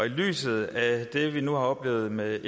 lyset af det vi nu har oplevet med